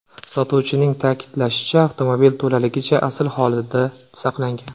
Sotuvchining ta’kidlashicha, avtomobil to‘laligicha asl holida saqlangan.